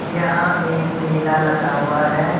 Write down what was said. यहां एक मेला लगा हुआ हैं।